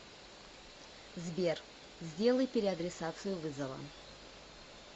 сбер сделай переадресацию вызова